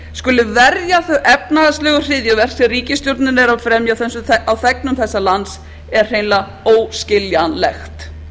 skuli verja þau efnahagslegu hryðjuverk sem ríkisstjórnin er að fremja á þegnum þessa lands er hreinlega óskiljanlegt